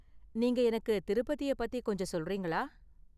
நீங்க எனக்கு திருப்பதிய பத்தி கொஞ்சம் சொல்றீங்களா?